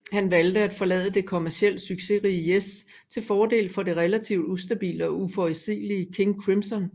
Han valgte at forlade det kommercielt succesrige Yes til fordel for det relativt ustabile og uforudsigelige King Crimson